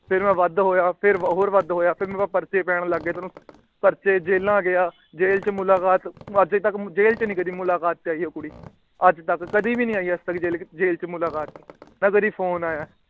ਫੇਰ ਮੈ ਵੱਧ ਹੋਇਆ। ਫੇਰ ਹੋਰ ਵੱਧ ਹੋਇਆ ਫੇਰ ਪਰਚੇ ਪੈਣ ਲੱਗ ਪਏ। ਪਰਚੇ ਜੇਲਾਂ ਗਿਆ। ਜੈਲ ਚ ਮੁਲਾਕਾਤ ਜੈਲ ਚ ਨਹੀਂ ਕਦੀ ਮੁਲਾਕਾਤ ਤੇ ਆਇ ਇਹ ਕੁੜੀ ਅੱਜਤਕ। ਕਦੀ ਵੀ ਨਹੀਂ ਆਇ ਜੇਲ ਚ ਮੁਲਾਕਾਤ ਨਾ ਕਦੀ Phone ਆਇਆ।